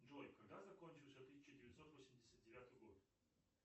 джой когда закончился тысяча девятьсот восемьдесят девятый год